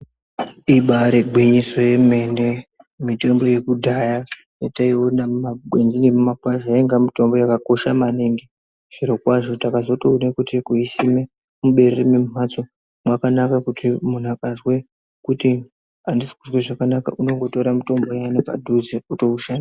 Ibaari gwinyiso yemene mitombo yekudhaya yataiona mumagwenzi nemumakwasha yainga mitombo yakakosha maningi zvirokwazvo takatozoone kuti kuisime muberere memimhatso mwakanaka kuti muntu akazwe kuti andisikuzwe zvakanaka unondotore mitombo iyani panduze kuti ashandise.